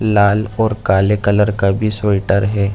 लाल और काले कलर का भी स्वेटर है।